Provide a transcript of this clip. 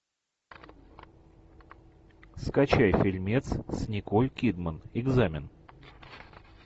скачай фильмец с николь кидман экзамен